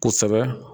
Kosɛbɛ